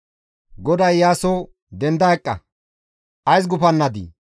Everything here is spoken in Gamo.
GODAY Iyaaso, «Denda eqqa! Ays gufannadii?